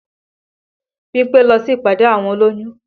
Bímpé lọ sí ìpàdé àwọn olóyún